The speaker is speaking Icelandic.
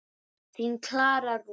Þín, Klara Rún.